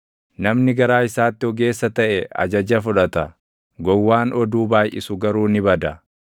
Namni garaa isaatti ogeessa taʼe ajaja fudhata; gowwaan oduu baayʼisu garuu ni bada.